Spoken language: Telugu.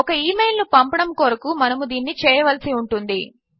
ఒక ఇమెయిల్ ను పంపడము కొరకు మనము దీనిని చేయవలసి ఉంటుంది